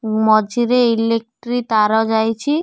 ମଝିରେ ଇଲେକ୍ଟ୍ରି ତାର ଯାଇଛି।